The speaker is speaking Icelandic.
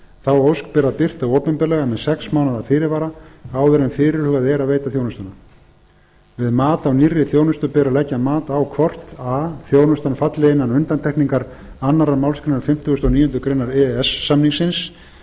þá ósk ber að birta opinberlega með sex mánaða fyrirvara áður en fyrirhugað er að veita þjónustuna við mat á nýrri þjónustu ber að leggja mat á hvort a þjónustan falli án undantekningar annarrar málsgreinar fimmtíu og níu greinar e e s samningsins